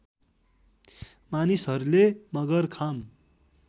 मानिसहरूले मगरखाम